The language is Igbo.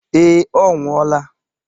Ee, ọ nwụọla.